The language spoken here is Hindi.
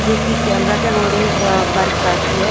जोकि कैमरा के अकॉर्डिंग अ वर्क करती है।